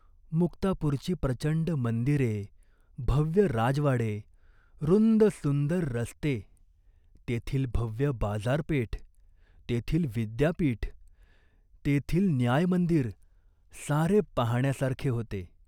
मुक्तापूरची प्रचंड मंदिरे, भव्य राजवाडे, रुंद सुंदर रस्ते, तेथील भव्य बाजारपेठ, तेथील विद्यापीठ, तेथील न्यायमंदिर, सारे पाहाण्यासारखे होते.